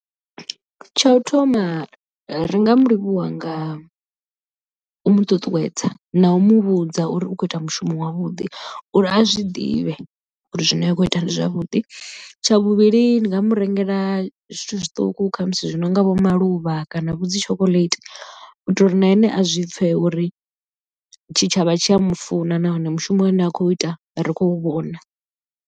Tsha u thoma ri nga mulivhuwa nga u mu ṱuṱuwedza na u muvhudza uri u khou ita mushumo wavhuḓi uri a zwi ḓivhe uri zwine a khou ita ndi zwavhuḓi. Tsha vhuvhili ndi nga mu rengela zwithu zwiṱuku khamusi zwi no nga vho maluvha kana vho dzi chocolate u itela uri na ene a zwi pfhe uri tshitshavha tshi a mufuna nahone mushumo une a khou ita ri khou vhona.